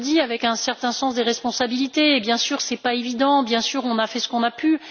Je le dis avec un certain sens des responsabilités. Bien sûr, ce n'est pas évident, bien sûr, on a fait ce qu'on a pu.